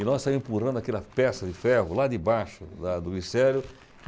E nós saímos empurrando aquela peça de ferro lá de baixo lá do ministério.